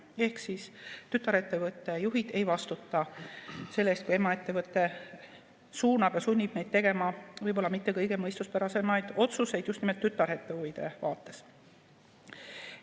Ehk siis tütarettevõtte juhid ei vastuta selle eest, kui emaettevõte suunab ja sunnib neid tegema võib-olla mitte kõige mõistuspärasemaid otsuseid just nimelt tütarettevõtte huvide vaates.